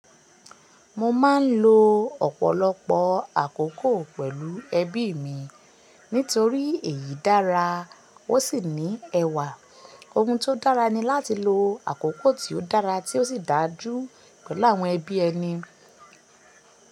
Mo ma n lo ọ̀pọ̀lọpọ̀ àkókò pẹ̀lú ẹbí mi nítorí èyí dára, ó sì ní ẹwà. Ohun tó dára ni láti lo àkókò tí ó dára tí ó sì dájú pẹ̀lú àwọn ẹbí ẹni.